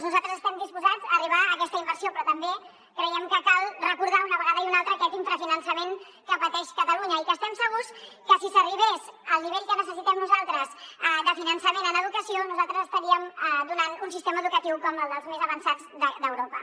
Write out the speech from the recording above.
nosaltres estem disposats a arribar a aquesta inversió però també creiem que cal recordar una vegada i una altra aquest infrafinançament que pateix catalunya i que estem segurs que si s’arribés al nivell que necessitem nosaltres de finançament en educació nosaltres estaríem donant un sistema educatiu com el dels més avançats d’europa